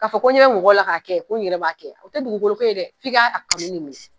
K'a fɔ ko n ɲɛ be mɔgɔw la ka kɛ ko n yɛrɛ b'a kɛ o te dugukolo ko ye dɛ f'i ka kanu de mɛnɛ